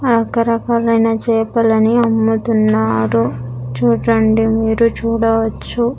ఆ రకరకాలైన చేపలని అమ్ముతున్నారు చూడండి మీరు చూడవచ్చు.